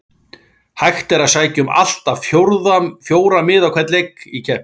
Hægt er að sækja um allt að fjóra miða á hvern leik í keppninni.